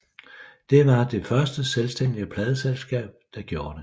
Det var det første selvstændige pladeselskab der gjorde det